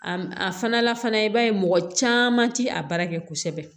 A a fana la fana i b'a ye mɔgɔ caman ti a baara kɛ kosɛbɛ